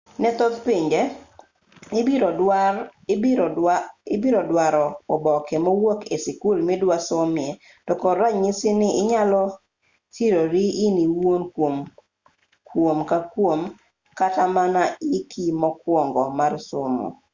ne thoth pinje ibiro duaro oboke mowuok e sikul midwa somoe to kod ranyisi ni inyalo sirori in iwuon kuom kuom kata mana hiki mokuongo mar somo